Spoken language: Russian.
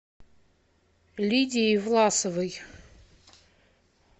лидией власовой